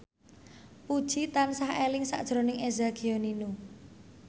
Puji tansah eling sakjroning Eza Gionino